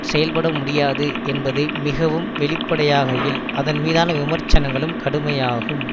செயல்பட முடியாது என்பது மிகவும் வெளிப்படையாகையில் அதன் மீதான விமர்சனங்களும் கடுமையாகும்